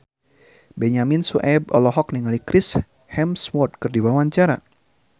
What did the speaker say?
Benyamin Sueb olohok ningali Chris Hemsworth keur diwawancara